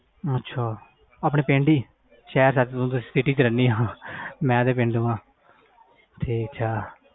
ਅੱਛਾ ਆਪਣੇ ਪਿੰਡ ਹੀ ਸ਼ਹਿਰ city ਵਿਚ ਸੱਚ ਰਹਿਣੀ ਤੂੰ ਮੈਂ ਤੇ ਪੇਡੂ ਆ